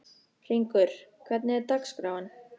Hringur, hvernig er dagskráin?